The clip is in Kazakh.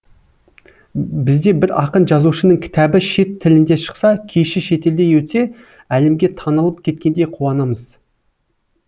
бізде бір ақын жазушының кітабы шет тілінде шықса кеші шетелде өтсе әлемге танылып кеткендей қуанамыз